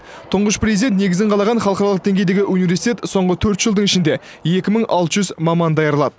тұңғыш президент негізін қалаған халықаралық деңгейдегі университет соңғы төрт жылдың ішінде екі мың алты жүз маман даярлады